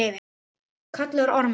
kallaði Ormur.